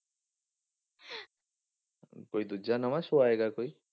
ਕੋਈ ਦੂਜਾ ਨਵਾਂ show ਆਏਗਾ ਕੋਈ।